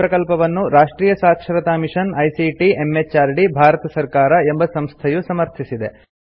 ಈ ಪ್ರಕಲ್ಪವನ್ನು ರಾಷ್ಟ್ರಿಯ ಸಾಕ್ಷರತಾ ಮಿಷನ್ ಐಸಿಟಿ ಎಂಎಚಆರ್ಡಿ ಭಾರತ ಸರ್ಕಾರ ಎಂಬ ಸಂಸ್ಥೆಯು ಸಮರ್ಥಿಸಿದೆ